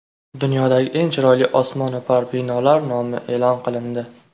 Dunyodagi eng chiroyli osmono‘par binolar nomi e’lon qilindi .